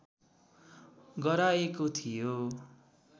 गराएको थियो